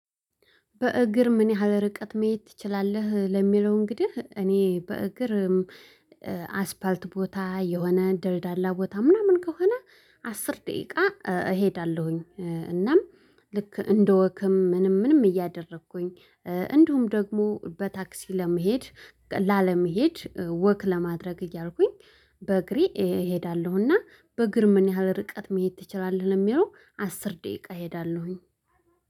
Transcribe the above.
በእግር ምን ያህል ርቀት መሄድ ትችላለህ? ለሚለው እንግዲህ እኔ በእግር አስፋልት ቦታ የሆነ ደልዳላ ቦታ ምናምን ከሆነ አስር ደቂቃ እሄዳለሁኝ። እናም ልክ እንደ ወክም ምንም ምንም እያደረኩኝ እንደውም ደግሞ በታክሲ ለመሄድ ላለመሄድ ወክ ለማድረግ እያልኩኝ። በእግሬ እሄዳለሁና በእግር ምን ያህል ርቀት መሄድ ትችላለህ? ለሚለው አስር ደቂቃ እሄዳለሁኝ